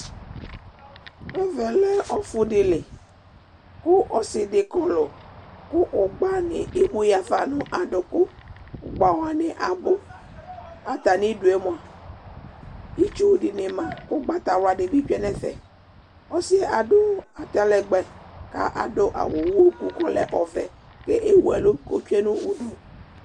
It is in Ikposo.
Ɛvɛ lɛ ɔfʋɖili kʋ ɔsiɖi kɔlɔkʋ ʋgbani emuyeafa n'ɖʋkoƲgbawani abʋk'atamiɖʋemoa itsuɖini maƲgbatawluɖi bi tsue n'ɛfɛƆsiɛ aɖʋ atalɛgbɛ k'aɖʋ awu ʋhɔku k'ɔlɛ ɔvɛ, k'ewu ɛlʋ k'otsue n'ʋɖʋ